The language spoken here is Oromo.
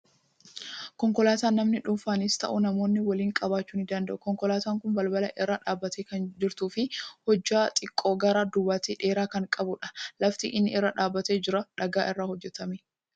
Konkolaataa namni dhuunfaanis ta'u, namoonni waliin qabachuu ni danda'u. Konkolaataan kun balbala irra dhaabbattee kan jirtuu fi hojjaa xiqqoo gara duubaatti dheeraa kan qabdudha. Lafti inni irra dhaabatee jiru dhagaarraa hojjetameera.